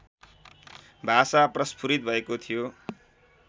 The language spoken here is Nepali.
भाषा प्रस्फुरित भएको थियो